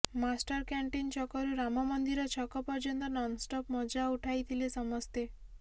master canteen ଛକରୁ ରାମମନ୍ଦିର ଛକ ପର୍ଯ୍ୟନ୍ତ ନନ୍ଷ୍ଟପ୍ ମଜା ଉଠାଇଥିଲେ ସମସ୍ତେ